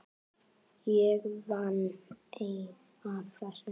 Ég vann eið að þessu.